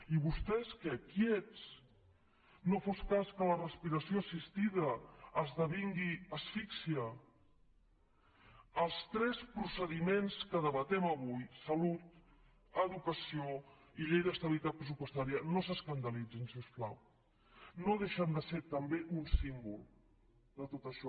i vostès què quiets no fos cas que la respiració assistida esdevingui asfíxia els tres procediments que debatem avui salut educació i llei d’estabilitat pressupostària no s’escandalitzin si us plau no deixen de ser també un símbol de tot això